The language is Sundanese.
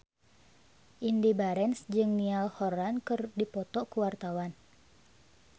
Indy Barens jeung Niall Horran keur dipoto ku wartawan